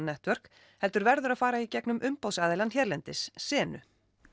Network heldur verður að fara í gegnum hérlendis senu